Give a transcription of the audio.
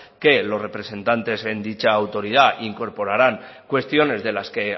que los representantes en dicha autoridad incorporaran cuestiones de las que